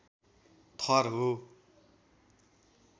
थर हो।